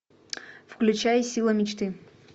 включай сила мечты